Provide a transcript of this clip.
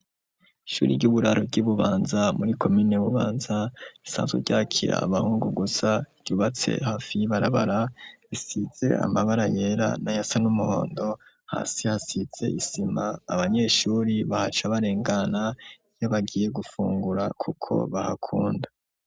Ishuri ry'uburaro ryi Mubanza muri komine Bubanza risanzwe ryakira abahungu gusa ryubatse hafi y'ibarabara risize amabara yera nayasa n'umuhondo hasi hasize isima abanyeshuri bahaca barengena kuko bahakunda.